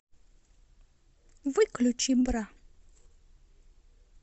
выключи бра